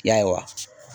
Yaye